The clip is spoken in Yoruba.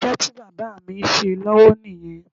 Iṣẹ́ tí bàbá mi ń ṣe lọ́wọ́ nìyẹn